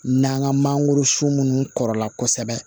N'an ka mangoro sun munnu kɔrɔla kosɛbɛ